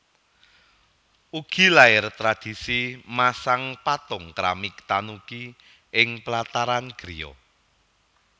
Ugi lair tradisi masang patung keramik Tanuki ing plataran griya